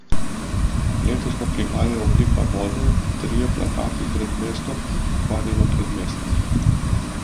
Letos pa prihajajo Oblika vode, Trije plakati pred mestom in Pokvarjeno predmestje.